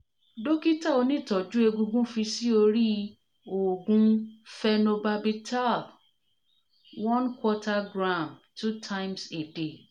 dokita onitoju egungun fi si ori oogun phenobarbital one quarter gram two times a day